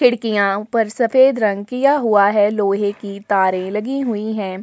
खिड़कियां ऊपर सफेद रंग किया हुआ है लोहे की तारे लगी हुईं है।